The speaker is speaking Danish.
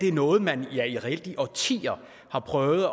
er noget man reelt i årtier har prøvet